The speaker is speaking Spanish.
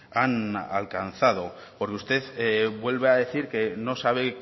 han alcanzado porque usted vuelve a decir que no sabe